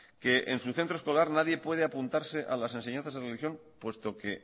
que en su centro escolar nadie puede apuntarse a las enseñanzas en religión puesto que